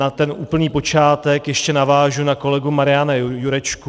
Na ten úplný počátek ještě navážu na kolegu Mariana Jurečku.